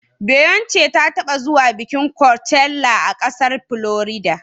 Beyonce ta taɓa zuwa bikin kocella a ƙasar Florida.